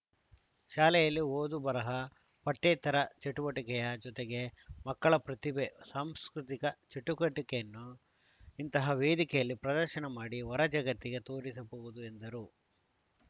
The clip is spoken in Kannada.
ಶಾಲೆಯಲ್ಲಿ ಓದು ಬರಹ ಪಠ್ಯೇತರ ಚಟುವಟಿಕೆಯ ಜತೆಗೆ ಮಕ್ಕಳ ಪ್ರತಿಭೆ ಸಾಂಸ್ಕೃತಿಕ ಚಟುಕಟಿಕೆಯನ್ನು ಇಂತಹ ವೇದಿಕೆಯಲ್ಲಿ ಪ್ರದರ್ಶನ ಮಾಡಿ ಹೊರ ಜಗತ್ತಿಗೆ ತೋರಿಸಬಹುದು ಎಂದರು